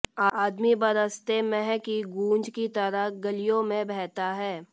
आदमी बरसते मेंह की गूँज की तरह गलियों में बहता है